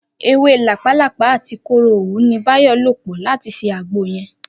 Ewé làpálàpáà àti kóró òwú ni Báyò̩ lò̩ pò̩ láti s̩e àgbo ye̩n